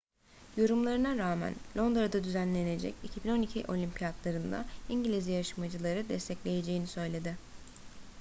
yorumlarına rağmen londra'da düzenlenecek 2012 olimpiyatları'nda i̇ngiliz yarışmacıları destekleyeceğini söyledi